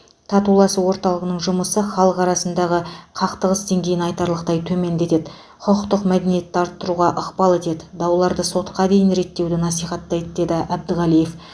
татуласу орталығының жұмысы халық арасындағы қақтығыс деңгейін айтарлықтай төмендетеді құқықтық мәдениетті арттыруға ықпал етеді дауларды сотқа дейін реттеуді насихаттайды деді әбдіғалиев